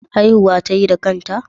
Haihuwa tayi da kanta?